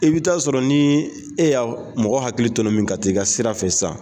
I bɛ taa sɔrɔ ni e ya mɔgɔ hakili tɔnɔmin ka t'ii ka sira fɛ sisan.